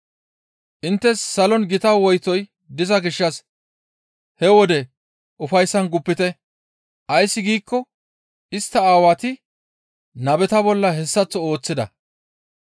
«Inttes salon gita woytoy diza gishshas he wode ufayssan guppite; ays giikko istta Aawati nabeta bolla hessaththo ooththida.